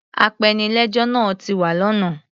Apenilẹ́jọ́ náa ti wa lọ́nà.